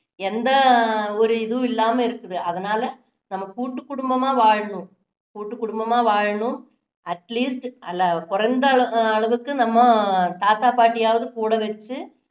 எந்த ஒரு இதுவும் இல்லாம இருக்குது அதனால நம்ம கூட்டு குடும்பமா வாழணும் கூட்டு குடும்பமா வாழணும் atleast அதுல குறைந்த அளவுக்கு நம்ம தாத்தா பாட்டி ஆவது கூட வச்சு